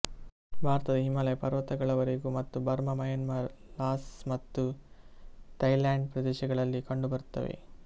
ಭಾರತ ಹಿಮಾಲಯಪರ್ವತಗಳವರೇಗೂ ಮತ್ತು Burma Myanmar Laos ಮತ್ತು ಥೈಲ್ಯಾಂಡ್ ಪ್ರದೇಶಗಳಲ್ಲಿ ಕಂಡು ಬರುತ್ತವೆ